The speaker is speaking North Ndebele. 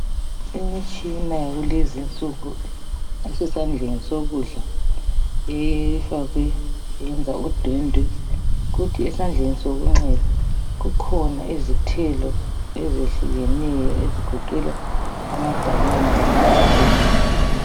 Imitshina yakulezi nsuku esesandleni sokudla efakwe yenza udwendwe, kuthi esandleni sokunxele kukhona izithelo ezihlukeneyo ezigoqela ama"banana" lama aphula.